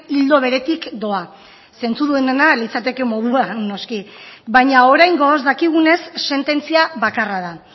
ildo beretik doa zentzudunena litzateke moduan noski baina oraingoz dakigunez sententzia bakarra da